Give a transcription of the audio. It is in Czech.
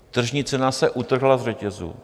Tržní cena se utrhla z řetězu.